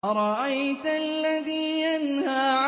أَرَأَيْتَ الَّذِي يَنْهَىٰ